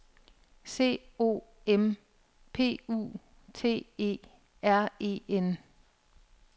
C O M P U T E R E N